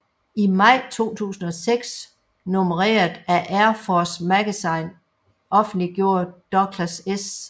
I maj 2006 nummeret af AIR FORCE Magazine offentliggjorde Douglas S